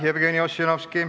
Aitäh, Jevgeni Ossinovski!